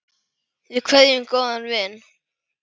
Við kveðjum góðan vin.